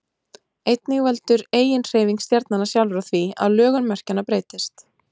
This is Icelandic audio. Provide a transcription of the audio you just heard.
einnig veldur eiginhreyfing stjarnanna sjálfra því að lögun merkjanna breytist